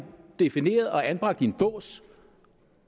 defineret og blevet anbragt i en bås